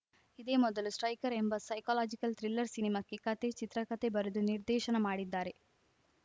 ಇದೇ ಮೊದಲು ಸ್ಟ್ರೈಕರ್‌ ಎಂಬ ಸೈಕಲಾಜಿಕಲ್‌ ಥ್ರಿಲ್ಲರ್‌ ಸಿನಿಮಾಕ್ಕೆ ಕತೆ ಚಿತ್ರಕತೆ ಬರೆದು ನಿರ್ದೇಶನ ಮಾಡಿದ್ದಾರೆ